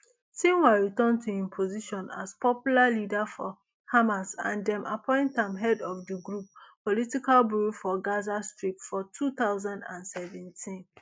sinwar return to im position as popular leader for hamas and dem appoint am head of di group political bureau for gaza strip for two thousand and seventeen